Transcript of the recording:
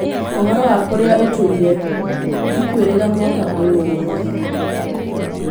Ũhoro wa kũria ũtũire? Ndikwĩrĩga mwaka ũyũ wothe.